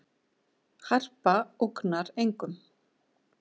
Harpa ógnar engum